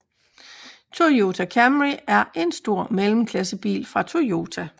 Toyota Camry er en stor mellemklassebil fra Toyota